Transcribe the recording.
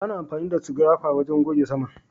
Ana amfani da Scrapper wajen goge saman